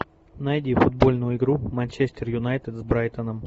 найди футбольную игру манчестер юнайтед с брайтоном